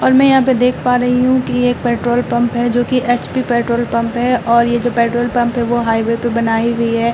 और मैं यहां पे देख पा रही हूं कि एक पेट्रोल पंप है जोकि एचपी पेट्रोल पंप है और ये जो पेट्रोल पंप है वो हाईवे पे बनाई हुई है।